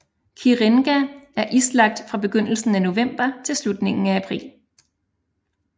Kirenga er islagt fra begyndelsen af november til slutningen af april